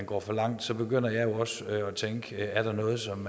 går for langt så begynder jeg jo også at tænke er der noget som